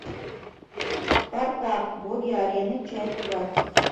спартак боги арены часть двадцать